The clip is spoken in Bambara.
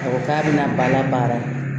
A ko k'a bɛna bala baara